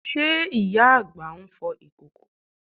Ṣe ìyá àgbà ń fọ ìkòkò?